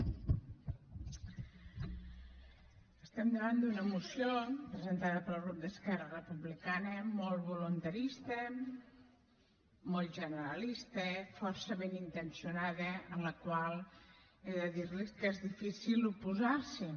estem davant d’una moció presentada pel grup d’esquerra republicana molt voluntarista molt generalista força ben intencionada a la qual he de dir los que és difícil oposar s’hi